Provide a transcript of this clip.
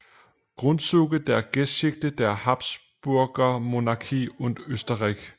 Grundzüge der Geschichte der Habsburgermonarchie und Österreichs